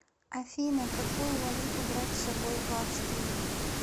афина какую валюту брать с собой в австрию